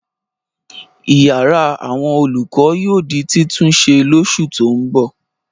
Ìyàrá àwọn olùkọ́ yóò di títúnṣe lóṣù tó ń bọ̀.